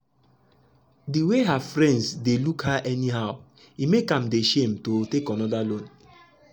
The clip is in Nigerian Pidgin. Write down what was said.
de way her friends dey look her anyhow e make am dey shame to take another loan.